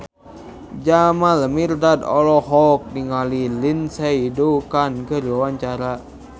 Jamal Mirdad olohok ningali Lindsay Ducan keur diwawancara